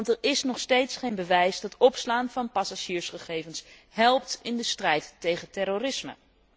Er is nog steeds geen bewijs dat het opslaan van passagiersgegevens helpt in de strijd tegen terrorisme.